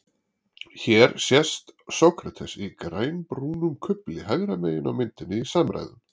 Hér sést Sókrates í grænbrúnum kufli hægra megin á myndinni í samræðum.